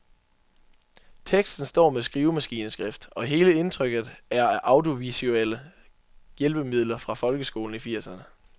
Teksten står med skrivemaskineskrift, og hele indtrykket er af audiovisuelle hjælpemidler fra folkeskolen i firserne.